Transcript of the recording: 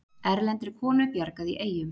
Erlendri konu bjargað í Eyjum